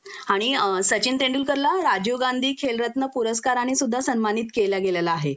आणि अ सचिन तेंडुलकर ला राजीव गांधी खेलरत्न पुरस्काराने सुद्धा सन्मानित केलं गेलेलं आहे